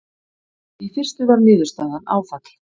Í fyrstu var niðurstaðan áfall.